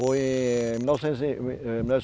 Foi em mil novecentos e.